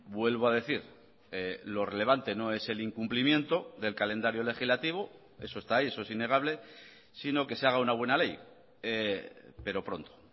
vuelvo a decir lo relevante no es el incumplimiento del calendario legislativo eso está ahí eso es innegable sino que se haga una buena ley pero pronto